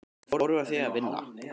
Hvernig fórum við að því að vinna?